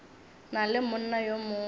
na le monna yo mongwe